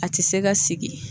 A ti se ka sigi